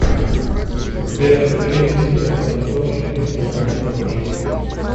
сбер включи мистер макинтош мистер макинтош